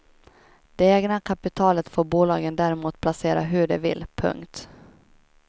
Det egna kapitalet får bolagen däremot placera hur de vill. punkt